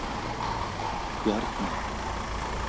Bjarney